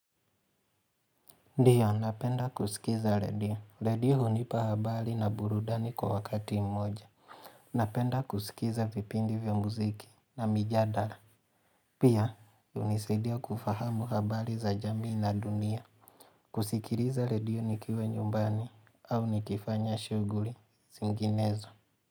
Ndio, napenda kusikiza redio. Redio hunipa habari na burudani kwa wakati mmoja Napenda kusikiza vipindi vya muziki na mijadala Pia, hunisidia kufahamu habari za jamii na dunia kusikiliza redio nikiwa nyumbani au nikifanya shuguli zinginezo.